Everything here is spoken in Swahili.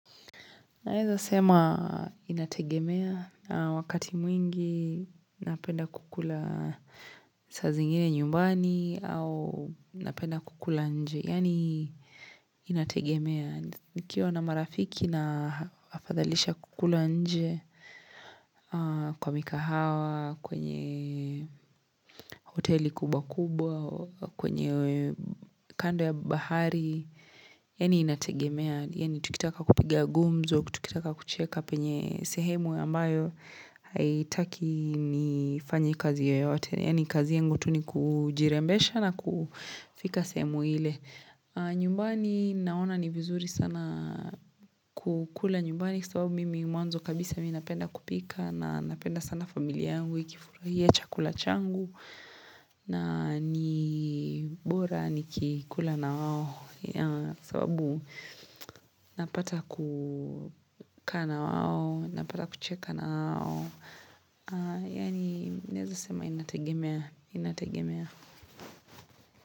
Naeza sema inategemea na wakati mwingi napenda kukula saa zingine nyumbani au napenda kukula nje. Yani inategemea. Nikiwa na marafiki na afadhalisha kukula nje kwa mikahawa, kwenye hoteli kubwa kubwa, kwenye kando ya bahari. Yani inategemea Yani tukitaka kupiga gumzo Tukitaka kucheka penye sehemu ambayo Haitaki nifanye kazi yoyote Yani kazi yengu tu ni kujirembesha na kufika semu ile nyumbani naona ni vizuri sana kukula nyumbani sababu mimi mwanzo kabisa mimi napenda kupika na napenda sana familia yangu ikifurahia chakula changu na ni bora nikikula na wao ya sababu napata kukaa na wao, napata kucheka na wao, yani naeza sema inategemea, inategemea.